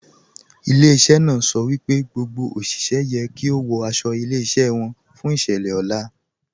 Ilẹ̀-iṣẹ́ náà sọ pé gbogbo oṣiṣẹ̀ yẹ kí o wọ̀ àṣọ ilẹ̀-iṣẹ́ wọn fún iṣẹ̀lẹ̀ ọlá.